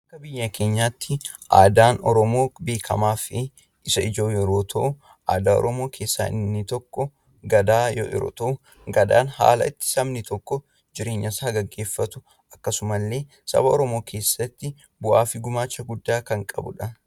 Akka biyya keenyaatti aadaan Oromoo beekamaa fi isa ijoo yeroo ta'u, aadaa Oromoo keessaa inni tokko Gadaa yeroo ta'u, Gadaan yeroo itti sabni tokko jireenya isaa gaggeeffatu akkasuma illee saba Oromoo keessatti bu'aa fi gumaacha guddaa kan qabudha.